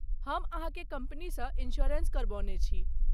हम अहाँके कम्पनीसँ इंश्योरेंस करबौने छी।